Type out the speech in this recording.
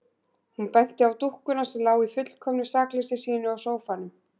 Hún benti á dúkkuna sem lá í fullkomnu sakleysi sínu á sófanum.